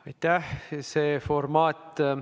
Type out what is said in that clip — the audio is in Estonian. Aitäh!